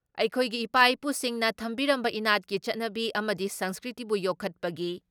ꯑꯩꯈꯣꯏꯒꯤ ꯏꯄꯥ ꯏꯄꯨꯁꯤꯡꯅ ꯊꯝꯕꯤꯔꯝꯕ ꯏꯅꯥꯠꯀꯤ ꯆꯠꯅꯕꯤ ꯑꯝꯗꯤ ꯁꯪꯁꯀ꯭ꯔꯤꯇꯤꯕꯨ ꯌꯣꯛꯈꯠꯄꯒꯤ